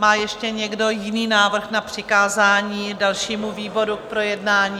Má ještě někdo jiný návrh na přikázání dalšímu výboru k projednání?